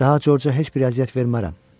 Daha Corca heç bir əziyyət vermərəm.